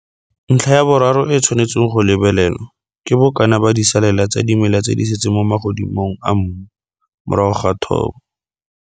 Ntlha ya boraro e e tshwanetseng go lebelelwa ke bokana ba disalela tsa dimela tse di setseng mo magodimong a mmu morago ga thobo.